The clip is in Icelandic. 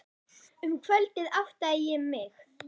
Um kvöldið áttaði ég mig.